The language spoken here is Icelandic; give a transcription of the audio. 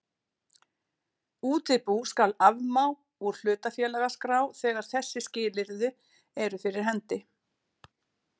Útibú skal afmá úr hlutafélagaskrá þegar þessi skilyrði eru fyrir hendi